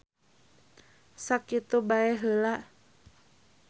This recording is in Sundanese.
Sakitu bae heula.